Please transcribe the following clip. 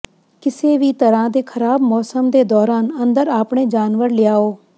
ਕਿਸੇ ਵੀ ਤਰ੍ਹਾਂ ਦੇ ਖਰਾਬ ਮੌਸਮ ਦੇ ਦੌਰਾਨ ਅੰਦਰ ਆਪਣੇ ਜਾਨਵਰ ਲਿਆਓ